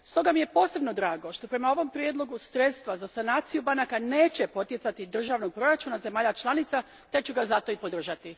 Stoga mi je posebno drago što prema ovom prijedlogu sredstva za sanaciju banaka neće potjecati iz državnog proračuna zemalja članica, te ću ga zato i podržati.